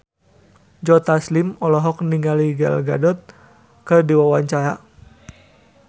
Joe Taslim olohok ningali Gal Gadot keur diwawancara